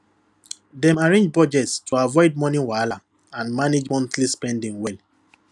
dem arrange budget to avoid money wahala and manage monthly spending well